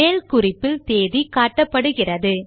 மேல் குறிப்பில் தேதி காட்டப்படுகிறது